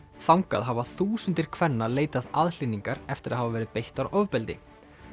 þangað hafa þúsundir kvenna leitað aðhlynningar eftir að hafa verið beittar ofbeldi